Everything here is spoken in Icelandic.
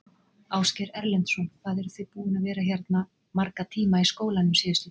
Ásgeir Erlendsson: Hvað eruð þið búin að vera hérna marga tíma í skólanum síðustu daga?